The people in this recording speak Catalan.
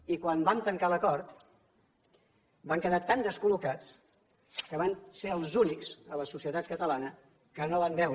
i quan vam tancar l’acord van quedar tan descol·locats que van ser els únics a la societat catalana que no van veure